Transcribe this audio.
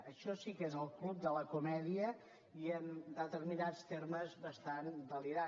això sí que és el club de la comèdia i en determinats termes bastant delirant